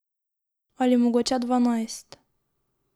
Ali mogoče dvanajst.